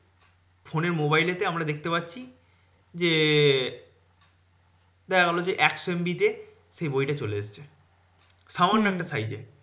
ফোনে এর mobile এ তে আমরা দেখতে পাচ্ছি যে দেখাগেলো যে, একশো MB তে সেই বইটা চলে এসেছে। সামান্য একটা size এ।